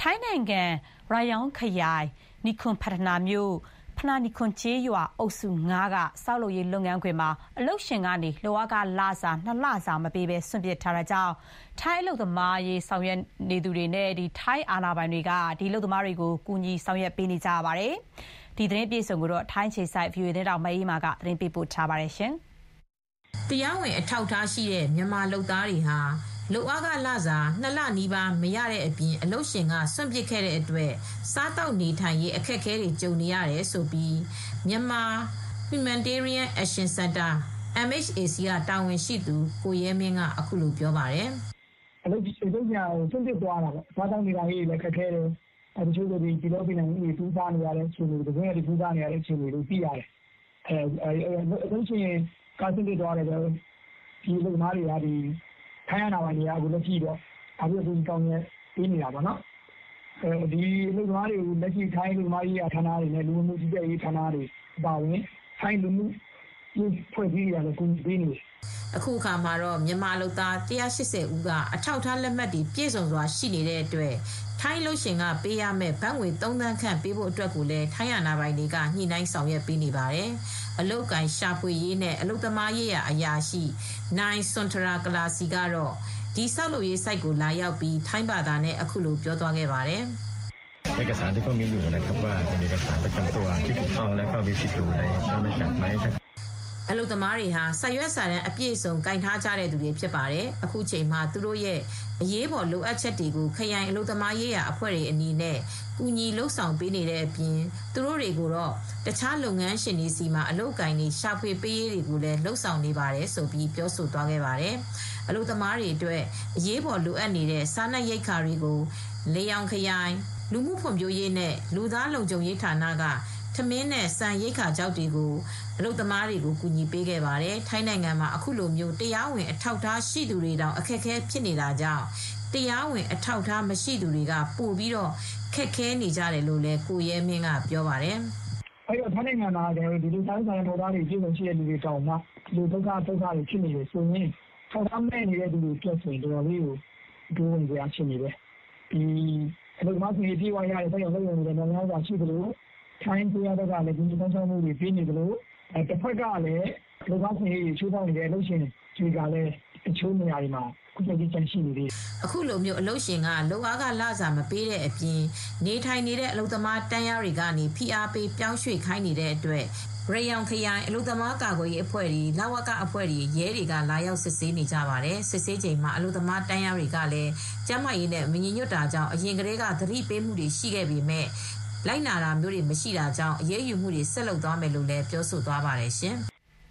ထိုင်းနိုင်ငံ ရယောင်ခရိုင် နိုခုမ်ဖတ်ထနာမြို့ ဖနာနိခုမ်ကျေးရွာ အုပ်စု ၅ က ဆောက်လုပ်ရေးလုပ်ငန်းခွင်မှာ အလုပ်ရှင်ကနေ လုပ်အားခလစာ၂ လစာမပေးဘဲ စွန့်ပစ်ထားတာကြောင့် ထိုင်းအလုပ်သမားရေးဆောင်ရွက်နေသူတွေနဲ့ ထိုင်းအာဏာပိုင်တွေက ကူညီဆောင်ရွက်ပေးနေရပါတယ်။ ဒီသတင်းကို ဗွီအိုအေသတင်းထောက်မအေးအေးမာက သတင်းပေးပို့ထားပါတယ်။ တရားဝင်အထောက်အထားရှိတဲ့ မြန်မာလုပ်သားတွေဟာ လုပ်ခလစာ ၂ လနီးပါး ခန့်မရတဲ့အပြင် အလုပ်ရှင်က စွန့်ပစ်ခဲ့တဲ့အတွက် စားသောက်နေထိုင်ရေး အခက်ခဲကြုံနေရတယ်လို့ Myanmar Humanitarian Action Centre က တာဝန်ရှိသူ ကိုရဲမင်းက အခုလိုပြောပါတယ်။ “အလုပ်ရှင်က စွန့်ပစ်တာပေါ့နော်။ စားသောက်ရေးလည်းခက်ခဲတယ်။ ပုလောပီနံဥတွေ တူးစားနေရတယ်။ ကန်ဇွန်းရွက်တွေ ခူးစားနေရတယ်။ ဒီအလုပ်သမားတွေကို ထိုင်းအာဏာပိုင်တွေက လာပြီး အကူအညီ ပေးနေရတာပေါ့နော်။ အလုပ်သမားတွေကို ထိုင်းအလုပ်သမားရေးရာဌာနတွေ ထိုင်းလ၀ကနဲ့ အလုပ်သမားရေးရာအဖွဲ့တွေက အကူညီပေးနေရတာပေါ့နော်။” အခုအခါမှာတော့ မြန်မာအလုပ်သမား ၁၈၀ ဦးက အထောက်အထား လက်မှတ်တွေ ပြည်စုံစွာရှိနေတဲ့အတွက် ထိုင်းအလုပ်ရှင်ကပေးရမယ့်ဘတ်ငွေ ၃ သန်းခန့် ပေးဖို့အတွက်လည်း ထိုင်းအာဏာပိုင်များက ညှိနှိုင်းဆောင်ရွက်ပေးနေပါတယ်။ အလုပ်အကိုင်ရှာဖွေရေးနဲ့ အလုပ်သမားရေးရာ အရာရှိ နိုင် စွန်ထရာ ကလာစီ ကတော့ အဲဒီဆောက်လုပ်ရေးဆိုဒ်ကိုလာရောက်ပြီး ထိုင်းဘာသာနဲ့ အခုလို ပြောသွားပါတယ်။ “အလုပ်သမားတွေဟာ စာရွတ်စာတမ်းအပြည့်အစုံ ကိုင်ဆေင်ထားကြသူတွေဖြစ်ပါတယ်။ အခုချိန်မှာ သူတို့ရဲ့ အရေးပေါ်လုပ်အပ်ချက်တွေကို ခရိုင် အလုပ်သမားရေးရာ အဖွဲ့တွေအနေနဲ့ ကူညီပေးနေတဲ့အပြင် သူတို့တွေကိုတော့ တခြားလုပ်ငန်းရှင်တွေဆီမှာအလုပ်အကိုင်တွေ ရှာဖွေပေးရေးကိုလည်း လုပ်ဆောင်နေပါတယ်လို့ ပြောသွားပါတယ်။ အလုပ်သမားတွေအတွက် အရေးပေါ် လိုအပ်နေတဲ့ စားနပ်ရိက္ခာတွေကို ရယောင်ခရိုင် လူမှုဖွံဖြိုးရေးနဲ့ လူသားလုံခြုံရေးဌာနက ထမင်းနှင့်ဆန်ရိက္ခာခြောက်တွေကို အလုပ်သမားတွေကို ကူညီပေးခဲ့ပါတယ်။ ထိုင်းနိုင်ငံမှာ အခုလိုတရားဝင်အထောက်အထားရှိသူတွေတောင် အခက်အခဲဖြစ်နေတာကြောင့် တရားဝင်အထောက်အထားမရှိသူတွေက ပိုပြီးခက်ခဲနေကြတယ်လို့လည်း ကိုရဲမင်းကပြောပါတယ်။ “ထိုင်းနိုင်ငံမှာက ဒီလို အထောက်အထားပြည်စုံတဲ့သူတွေတောင် ဒုက္ခတွေရောက်နေတယ်ဆိုတော့ အထောက်အထားမဲ့တွေအတွက်က ပိုပြီးစိုးရိမ်စရာရှိတယ်။ အခုက တချို့ အလုပ်သမားအခွင့်အရေးပေးတဲ့စက်ရုံတွေရှိသလို အလုပ်သမားအခွင့်အရေး ချိုးဖောက်နေတဲ့အလုပ်ရှင်တွေကလည်း တချို့နေရာတွေမှာရှိနေသေးတယ်။” အခုလို အလုပ်ရှင်က လုပ်ခလစာမပေးတဲ့အပြင် နေထိုင်နေတဲ့ အလုပ်သမားတန်းလျှားတွေကနေ ဖိအားပေး ပြောင်းရွေ့ခိုင်းနေတဲ့အတွက် ရယောင်ခရိုင် အလုပ်သမားကာကွယ်ရေးအဖွဲ့တွေ၊ လ၀က အဖွဲ့တွေ၊ ရဲတွေက လာရောက်စစ်ဆေးနေကြပါတယ်။ စစ်ဆေးချိန်မှာ သန့်ရှင်းရေးနဲ့ပတ်သက်လို့ သတိပေးထားပေမဲ့လိုက်နာမှုမရှိတာကြောင့် အလုပ်သမားတန်းလျားတွေဟာ ကျန်းမာရေးနဲ့မညီညွတ်တဲ့အတွက် ဆက်ပြီး အရေးယူသွားမယ်လို့လည်း ပြောဆိုသွားပါတယ်ရှင်။